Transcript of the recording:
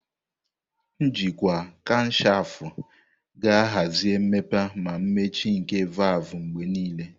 Njikwa kamshafu ga-ahazi mmepe na mmechi nke valvu mgbe niile.